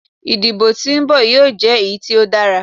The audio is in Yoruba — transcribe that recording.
Idibo ti o nbọ yoo jẹ eyi ti o dara